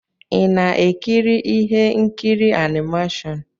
Ị na-ekiri ihe nkiri animashon?